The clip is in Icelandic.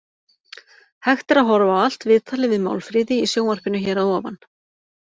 Hægt er að horfa á allt viðtalið við Málfríði í sjónvarpinu hér að ofan.